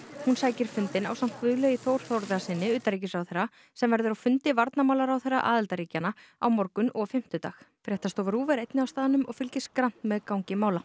hún sækir fundinn ásamt Guðlaugi Þór Þórðarsyni utanríkisráðherra sem verður á fundi varnarmálaráðherra aðildarríkjanna á morgun og fimmtudag fréttastofa RÚV er einnig á staðnum og fylgist grannt með gangi mála